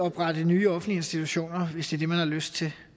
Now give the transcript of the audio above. oprette nye offentlige institutioner hvis det er det man har lyst til